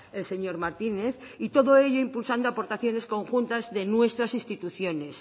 el señor martínez y todo ello impulsando aportaciones conjuntas de nuestras instituciones